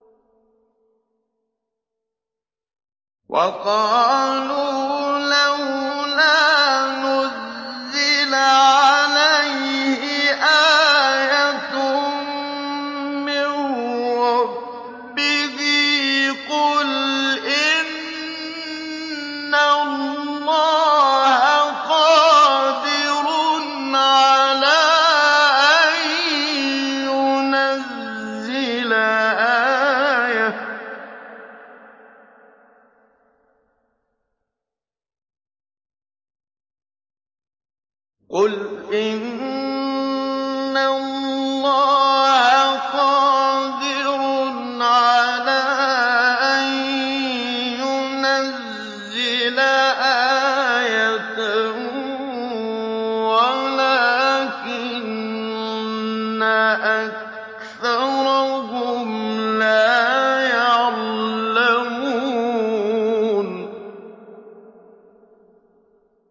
وَقَالُوا لَوْلَا نُزِّلَ عَلَيْهِ آيَةٌ مِّن رَّبِّهِ ۚ قُلْ إِنَّ اللَّهَ قَادِرٌ عَلَىٰ أَن يُنَزِّلَ آيَةً وَلَٰكِنَّ أَكْثَرَهُمْ لَا يَعْلَمُونَ